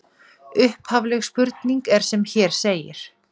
Upphafleg spurning er sem hér segir: